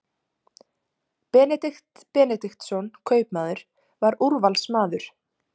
Benedikt Benediktsson kaupmaður var úrvalsmaður.